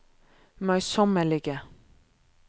møysommelige